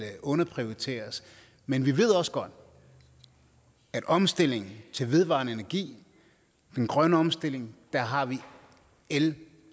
underprioriteres men vi ved også godt at i omstillingen til vedvarende energi den grønne omstilling har vi el